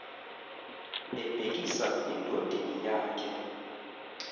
ebhekisa endodeni yakhe